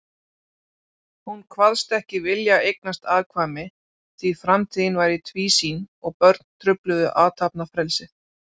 Hún kvaðst ekki vilja eignast afkvæmi, því framtíðin væri tvísýn og börn trufluðu athafnafrelsið.